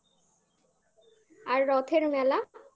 আর রথের মেলা